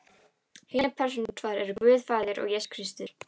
Hinar persónurnar tvær eru Guð faðir og Jesús Kristur.